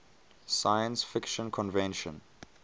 science fiction convention